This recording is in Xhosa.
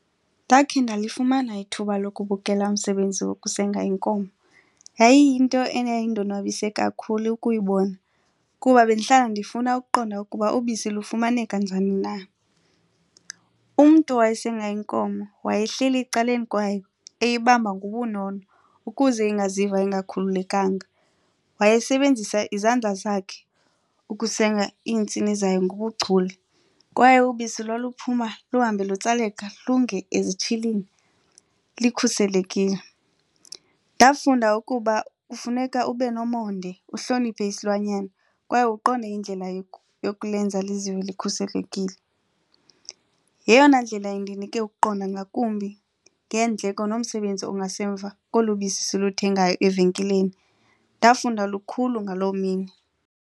Ndakhe ndalifumana ithuba lokubukela umsebenzi wokusenga inkomo. Yayiyinto eyayindonwabise kakhulu ukuyibona kuba bendihlala ndifuna ukuqonda ukuba ubisi lufumaneka njani na. Umntu wayesenga inkomo wayehleli ecaleni kwayo eyibamba ngobunono ukuze ingaziva ingakhululekanga. Wayesebenzisa izandla zakhe ukusenga iintsini zayo ngobuchule kwaye ubisi lwaluphuma luhambe lutsaleka lunge ezitshilini likhuselekile. Ndafunda ukuba kufuneka ube nomonde, uhloniphe isilwanyana kwaye uqonde indlela yokulenza lizive likhuselekile. Yeyona ndlela indinike ukuqonda ngakumbi ngeendleko nomsebenzi ongasemva kolu bisi siluthengayo evenkileni. Ndafunda lukhulu ngaloo mini.